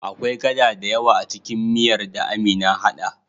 Akwai gada dayawa acikin miyar da Amina hada